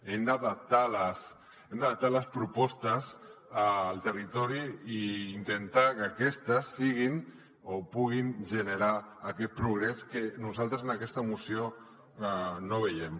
hem d’adaptar les propostes al territori i intentar que aquestes siguin o puguin generar aquest progrés que nosaltres en aquesta moció no veiem